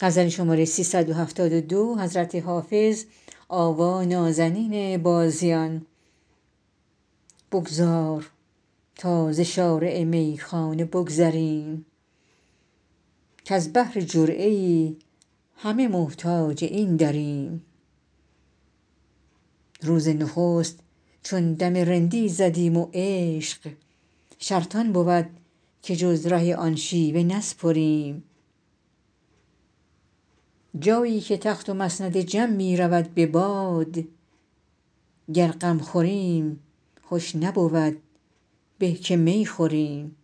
بگذار تا ز شارع میخانه بگذریم کز بهر جرعه ای همه محتاج این دریم روز نخست چون دم رندی زدیم و عشق شرط آن بود که جز ره آن شیوه نسپریم جایی که تخت و مسند جم می رود به باد گر غم خوریم خوش نبود به که می خوریم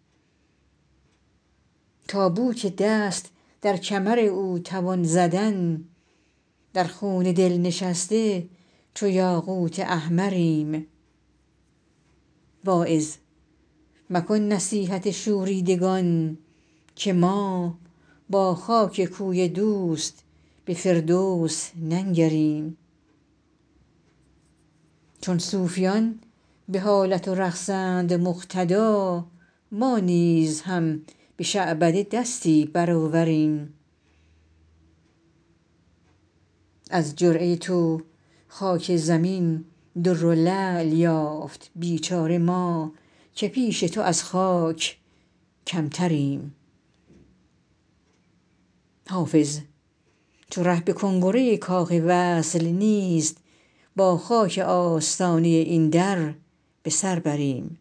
تا بو که دست در کمر او توان زدن در خون دل نشسته چو یاقوت احمریم واعظ مکن نصیحت شوریدگان که ما با خاک کوی دوست به فردوس ننگریم چون صوفیان به حالت و رقصند مقتدا ما نیز هم به شعبده دستی برآوریم از جرعه تو خاک زمین در و لعل یافت بیچاره ما که پیش تو از خاک کمتریم حافظ چو ره به کنگره کاخ وصل نیست با خاک آستانه این در به سر بریم